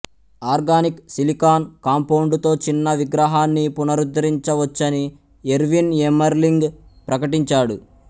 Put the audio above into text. organic silicon కాంపౌండుతో చిన్న విగ్రహాన్ని పునరుద్ధరించవచ్చని ఎర్విన్ ఎమ్మెర్లింగ్ ప్రకటించాడు